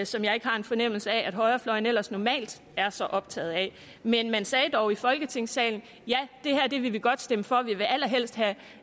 som jeg ikke har en fornemmelse af at højrefløjen ellers normalt er så optaget af men man sagde dog i folketingssalen ja det her vil vi godt stemme for vi vil allerhelst have